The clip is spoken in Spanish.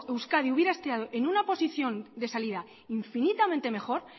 euskadi hubiera estado en una posición de salida infinitamente mejor